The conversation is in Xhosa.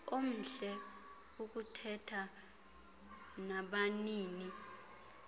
omhle ukuthetha nabanini